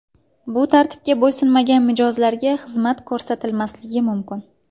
Bu tartibga bo‘ysunmagan mijozlarga xizmat ko‘rsatilmasligi mumkin.